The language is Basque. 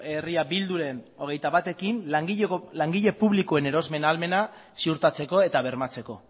herria bilduren hogeita batekin langile publikoen erosmen ahalmena ziurtatzeko eta bermatzeko